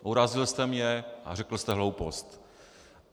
Urazil jste mě a řekl jste hloupost.